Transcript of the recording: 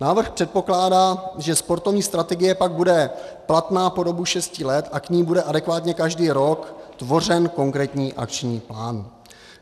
Návrh předpokládá, že sportovní strategie pak bude platná po dobu šesti let a k ní bude adekvátně každý rok tvořen konkrétní akční plán.